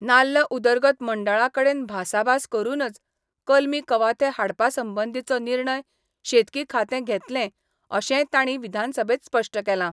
नाल्ल उदरगत मंडळाकडेन भासाभास करूनच कलमी कवाथे हाडपा संबंधीचो निर्णय शेतकी खातें घेतलें अशेंय तांणी विधानसभेंत स्पश्ट केलां.